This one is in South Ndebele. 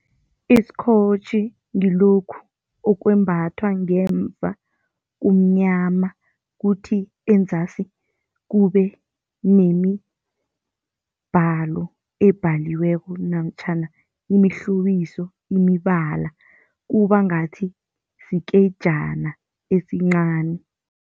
Iskhotjhi ngilokhu okwembathwa ngemva kumnyama, kuthi enzasi kube nemibhalo ebhaliweko namtjhana imihlobiso, imibala kuba ngathi sikejana esincani.